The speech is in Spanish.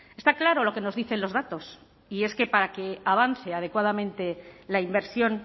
está claro lo que nos dicen los datos y es que para que avance adecuadamente la inversión